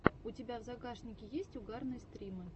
у тебя в загашнике есть угарные стримы